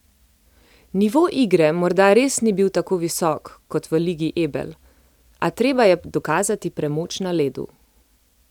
Nivo igre morda res ni bil tako visok, kot v Ligi Ebel, a treba je dokazati premoč na ledu.